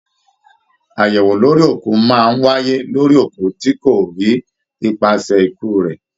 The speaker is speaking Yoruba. Ayẹwo lórí òkú máa n wáyé lórí òkú tí kò rí ipasẹ ikú rẹ.